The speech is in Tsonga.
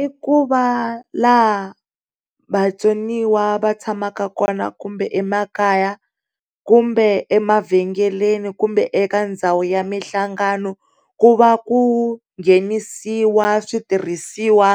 I ku va la ha vatsoniwa va tshamaka kona kumbe emakaya, kumbe emavhengeleni, kumbe eka ndhawu ya mihlangano ku va ku nghenisiwa switirhisiwa